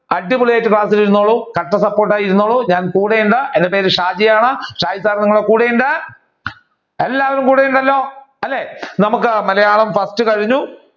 അടിപൊളിയായിട്ട് ക്ലാസിൽ ഇരുന്നോളൂ. കട്ട support ആയി ഇരുന്നോളൂ ഞാൻ കൂടെ ഉണ്ട് എന്റെ പേര് ഷാജി ആണ് ഷാജി sir നിങ്ങളുടെ കൂടെ ഉണ്ട് എല്ലാവരും കൂടെ ഉണ്ടല്ലോ അല്ലെ നമ്മുക്ക് മലയാളം first കഴിഞ്ഞു